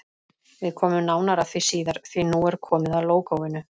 Við komum nánar að því síðar, því nú er komið að lógóinu.